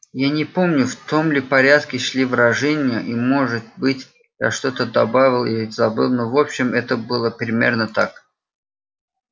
я не помню в том ли порядке шли выражения и может быть я что-то добавил или забыл но в общем это было примерно так